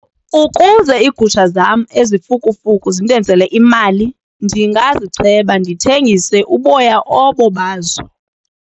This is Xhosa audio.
Ukuze iigusha zam ezifukufuku zindenzele imali ndingazicheba ndithengise uboya obo bazo.